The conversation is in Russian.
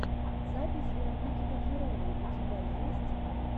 запись вероники котляровой у тебя есть